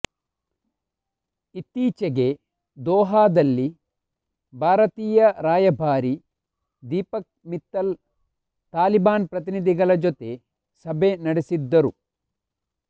ಇತ್ತೀಚೆಗೆ ದೋಹಾದಲ್ಲಿ ಭಾರತೀಯ ರಾಯಭಾರಿ ದೀಪಕ್ ಮಿತ್ತಲ್ ತಾಲಿಬಾನ್ ಪ್ರತಿನಿಧಿಗಳ ಜೊತೆ ಸಭೆ ನಡೆಸಿದ್ದರು